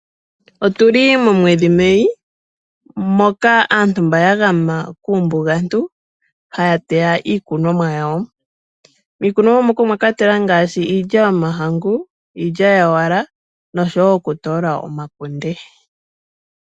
Otu li momwedhi Mei ngoka aantu mba ya gama kuumbugantu haya teya iikunomwa yawo mwakwatelwa ngaashi iilya yomahangu, iilyawala noshowo okutoola omakunde.